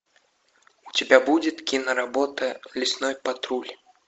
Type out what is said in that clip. у тебя будет киноработа лесной патруль